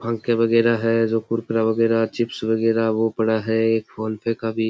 पंखे वगैरा है जो कुरकुरा वगैरा चिप्स वगैरा वो पड़ा है फ़ोन पे का भी --